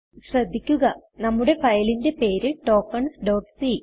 ശ്രദ്ധിക്കുക നമ്മുടെ ഫയലിന്റെ പേര് ടോക്കൻസ് c